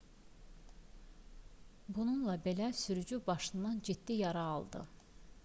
bununla belə sürücü başından ciddi yara aldı